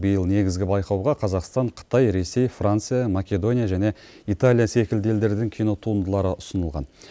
биыл негізгі байқауға қазақстан қытай ресей франция македония және италия секілді елдердің кинотуындылары ұсынылған